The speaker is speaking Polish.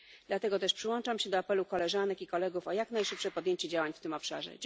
Dlatego też przyłączam się do apelu koleżanek i kolegów o jak najszybsze podjęcie działań w tym obszarze.